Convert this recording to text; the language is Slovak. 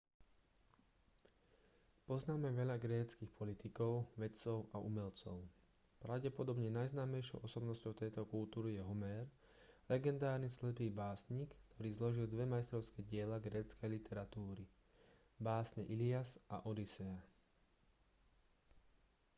poznáme veľa gréckych politikov vedcov a umelcov pravdepodobne najznámejšou osobnosťou tejto kultúry je homér legendárny slepý básnik ktorý zložil dve majstrovské diela gréckej literatúry básne ilias a odysea